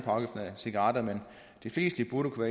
cigaretter men de fleste burde kunne